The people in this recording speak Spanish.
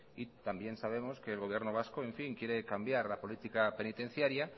y también sabemos que el gobierno vasco quiere cambiar la política penitenciaria